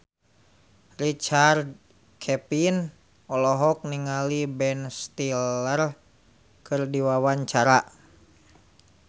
Richard Kevin olohok ningali Ben Stiller keur diwawancara